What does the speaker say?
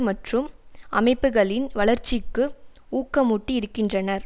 மற்றும் அமைப்புக்களின் வளர்ச்சிக்கு ஊக்கமூட்டி இருக்கின்றனர்